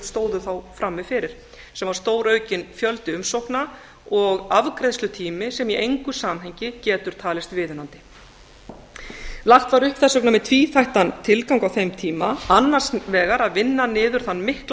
stóðu þá frammi fyrir sem var stóraukinn fjöldi umsókna og afgreiðslutími sem í engu samhengi getur talist viðunandi þess vegna var lagt upp með tvíþætt tilgang á þeim tíma annars vegar að vinna niður þann mikla